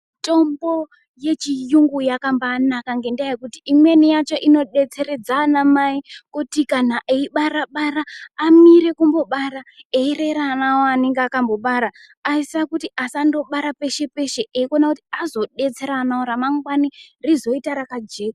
Mitombo yechiyungu yakambaanaka ngendaa yekuti imweni yacho ino detseredza anamai kuti kana eibarabara amire kumbobara eyirera ana awo aanenga aaka mbobara aisisa kuti asa ndobara peshepeshe eyiwona kuti azodetsere anawo ramangwani rizoita rakajeka.